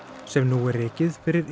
sem nú er rekið fyrir